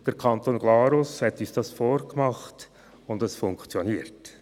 Der Kanton Glarus hat uns dies vorgemacht, und es funktioniert.